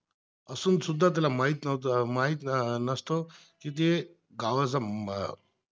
असूनसुद्धा त्याला माहीत नव्हता माहीत नसतो, तिथे गावाचा अं